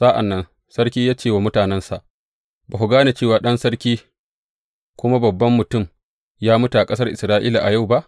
Sa’an nan sarki ya ce wa mutanensa, Ba ku gane cewa ɗan sarki kuma babban mutum ya mutu a ƙasar Isra’ila a yau ba?